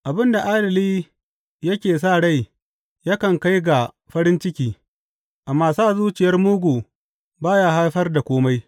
Abin da adali yake sa rai yakan kai ga farin ciki, amma sa zuciyar mugu ba ya haifar da kome.